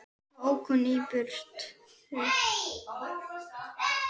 Svo ók hún í burtu.